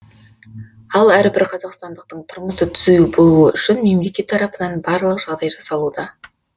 ал әрбір қазақстандықтың тұрмысы түзу болуы үшін мемлекет тарапынан барлық жағдай жасалуда